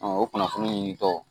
o kunnafoni in tɔ